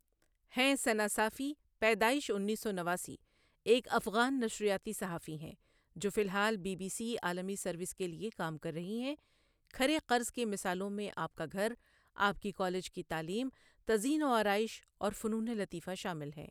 ہیں ثناء صافی پیدائش انیس سو نواسی ایک افغان نشریاتی صحافی ہیں، جو فی الحال بی بی سی عالمی سروس کے لیے کام کر رہی ہیں کھرے قرض کی مثالوں میں آپ کا گھر، آپ کی کالج کی تعلیم، تزئین و آرائش اور فنون لطیفہ شامل ہیں۔